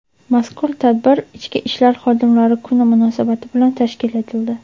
Mazkur tadbir "Ichki ishlar xodimlari kuni" munosabati bilan tashkil etildi.